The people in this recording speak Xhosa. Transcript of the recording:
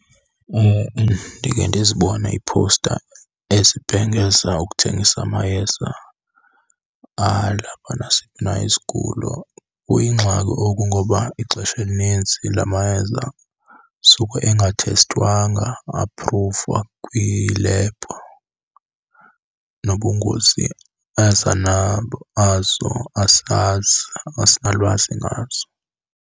Ndike ndizibone iiphowusta ezibhengeza ukuthengisa amayeza alapha nasiphi na isigulo. Kuyingxaki oku ngoba ixesha elinintsi la mayeza suke engathestwanga a-apruvwa kwilebhu, nobungozi aza nabo azo asazi, asinalwazi ngazo.